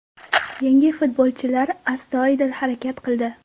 Yangi futbolchilar astoydil harakat qildi.